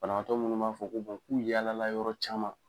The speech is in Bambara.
Banabaatɔ munnu b'a fɔ k'u yaala la yɔrɔ caman.